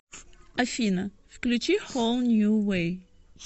афина включи хоул нью вэй